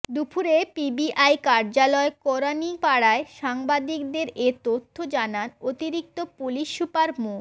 দুপুরে পিবিআই কার্যালয় কেরানীপাড়ায় সাংবাদিকদের এ তথ্য জানান অতিরিক্ত পুলিশ সুপার মো